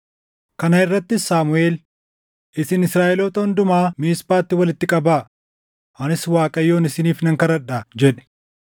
Kana irrattis Saamuʼeel, “Isin Israaʼeloota hundumaa Miisphaatti walitti qabaa; anis Waaqayyoon isiniif nan kadhadhaa” jedhe.